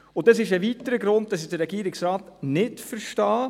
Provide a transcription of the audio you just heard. Das ist ein weiterer Grund dafür, dass ich den Regierungsrat nicht verstehe.